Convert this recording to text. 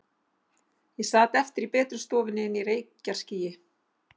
Ég sat eftir í betri stofunni inni í reykjarskýi.